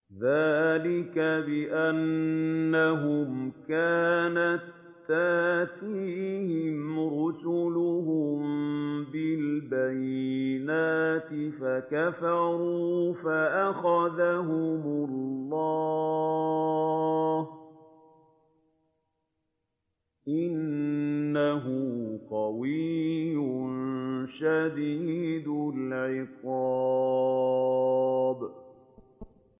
ذَٰلِكَ بِأَنَّهُمْ كَانَت تَّأْتِيهِمْ رُسُلُهُم بِالْبَيِّنَاتِ فَكَفَرُوا فَأَخَذَهُمُ اللَّهُ ۚ إِنَّهُ قَوِيٌّ شَدِيدُ الْعِقَابِ